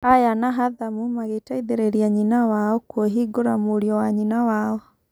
Aya na Hathamu magĩteithĩrĩria nyina wao kũĩhingũra mũriũ wa nyina wao.